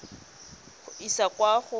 go e isa kwa go